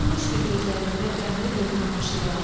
Dönmüşdü gözlərimdə qəmli bir tamaşaya.